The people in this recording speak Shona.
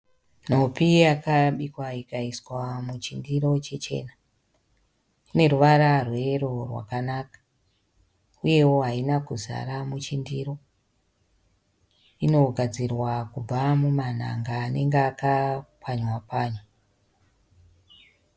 Nhopi yakabikwa ikaiswa muchi ndiro chichena. Ineruvaro rweyero rwakanaka uyewo haina kuzara michindiro. Inogadzirwa kubva mumanhanga anenge apwanywa panywa.